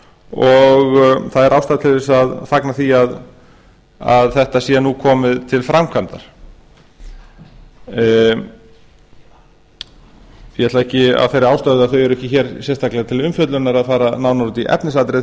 og það er ástæða til þess að fagna því að þetta sé nú komið til framkvæmda ég ætla ekki af þeirri ástæðu að þau eru ekki hér sérstaklega til umfjöllunar að fara nánar út í efnisatriði